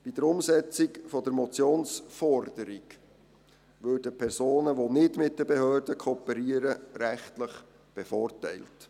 Bei der Umsetzung der Motionsforderung würden Personen, die nicht mit den Behörden kooperieren, rechtlich bevorteilt.